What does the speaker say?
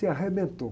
Se arrebentou.